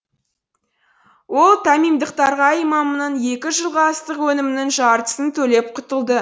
ол тамимдықтарға иемамның екі жылғы астық өнімінің жартысын төлеп құтылды